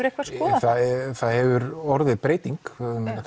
eitthvað skoðað það það hefur orðið breyting